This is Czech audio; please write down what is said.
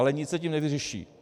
Ale nic se tím nevyřeší.